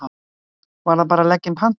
Væri það bara að leggja inn pantanir?